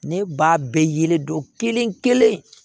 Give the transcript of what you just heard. Ne b'a bɛɛ yelen don kelen kelen